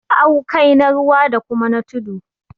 awkai na ruwa da kuma na tudu